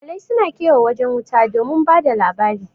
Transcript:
Iyalai su na kewaye wajen wuta don ba da labari